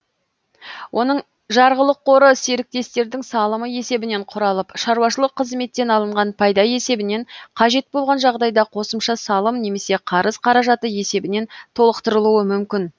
оның жарғылық қоры серіктестердің салымы есебінен құралып шаруашылық қызметтен алынған пайда есебінен қажет болған жағдайда қосымша салым немесе қарыз қаражаты есебінен толықтырылуы мүмкін